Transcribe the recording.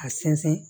A sɛnsɛn